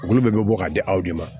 Olu bɛɛ bɛ bɔ k'a di aw de ma